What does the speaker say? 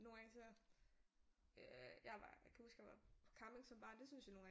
Nogle gange så jeg var kan huske jeg var på camping som barn det syntes jeg nogle gange var